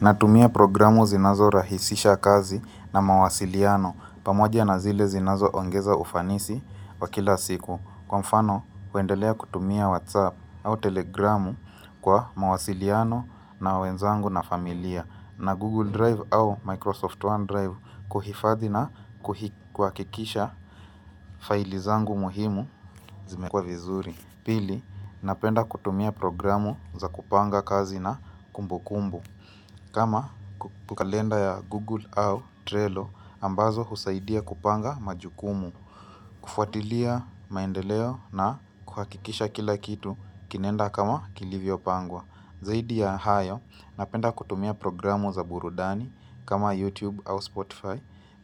Natumia programu zinazorahisisha kazi na mawasiliano pamoja na zile zinazoongeza ufanisi wa kila siku Kwa mfano, kuendelea kutumia WhatsApp au Telegramu Kwa mawasiliano na wenzangu na familia na Google Drive au Microsoft OneDrive kuhifadhi na kuhi kuhakikisha faili zangu muhimu Zimewekwa vizuri.pili, napenda kutumia programu za kupanga kazi na kumbu kumbu kama ku kalenda ya Google au Trello ambazo husaidia kupanga majukumu kufuatilia maendeleo na kuhakikisha kila kitu kinaenda kama kilivyopangwa Zaidi ya hayo napenda kutumia programu za burudani kama YouTube au Spotify